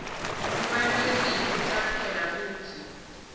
kubalulekile kucaphela kutsi